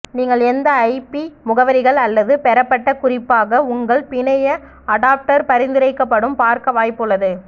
நீங்கள் எந்த ஐபி முகவரிகள் அல்லது பெறப்பட்ட குறிப்பாக உங்கள் பிணைய அடாப்டர் பரிந்துரைக்கப்படும் பார்க்க வாய்ப்பு உள்ளது